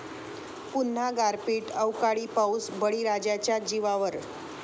पुन्हा गारपीट, अवकाळी पाऊस बळीराजाच्या जीवावर!